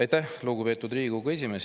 Aitäh, lugupeetud Riigikogu esimees!